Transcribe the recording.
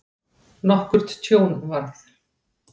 Nokkurt tjón varð.